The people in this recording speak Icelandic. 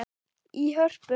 í Hörpu.